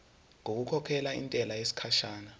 ngokukhokhela intela yesikhashana